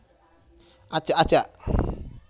Ajak ajak